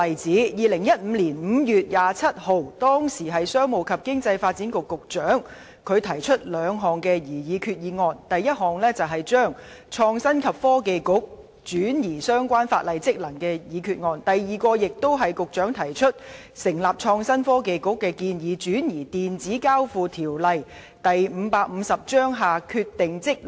在2015年5月27日，時任商務及經濟發展局局長提出兩項擬議決議案，第一項議案旨在廢除為成立創新及科技局移轉相關法定職能的決議，第二項議案旨在為成立創新及科技局移轉《電子交易條例》下的法定職能。